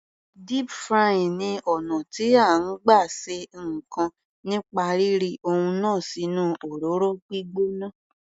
Deep frying ni ọ̀nà tí à ń gbà ṣe ǹkan nípa rí ri ohun náà sínú òróró gbígbóná.